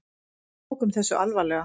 Við tókum þessu alvarlega.